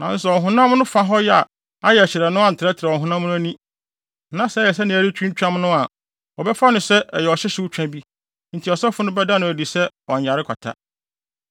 Nanso sɛ ɔhonam no fa hɔ a ayɛ hyerɛnn no antrɛtrɛw ɔhonam no ani, na sɛ ɛyɛ sɛ nea ɛhɔ retwintwam no a, wɔbɛfa no sɛ ɛyɛ ɔhyehyew twa bi, enti ɔsɔfo no bɛda no adi sɛ ɔnyare kwata.